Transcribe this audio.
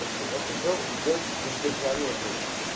я хотел сделать воздержание блять